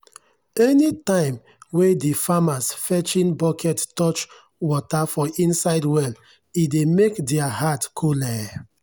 anytime wen de farmers fetching bucket touch water for inside well e dey make deir heart coole.